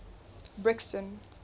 brixton